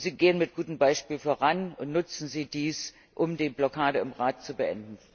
Gehen Sie mit gutem Beispiel voran und nutzen Sie dies, um die Blockade im Rat zu beenden.